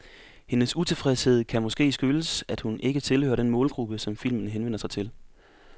Hendes utilfredshed kan måske skyldes, at hun ikke tilhører den målgruppe, filmen henvender sig til.